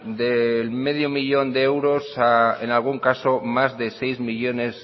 del medio millón de euros a en algún caso más de seis millónes